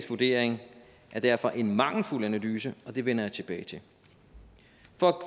vurdering er derfor en mangelfuld analyse og det vender jeg tilbage til